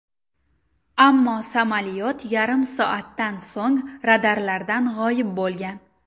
Ammo samolyot yarim soatdan so‘ng radarlardan g‘oyib bo‘lgan.